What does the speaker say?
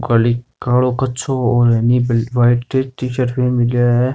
काली कालो कछो और वाइट टी-शर्ट पेहर मेल्यो है।